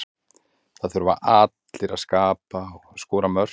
Það þurfa allir að skapa og skora mörk.